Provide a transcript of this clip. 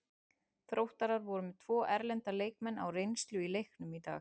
Þróttarar voru með tvo erlenda leikmenn á reynslu í leiknum í dag.